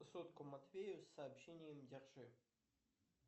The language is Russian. сотку матвею с сообщением держи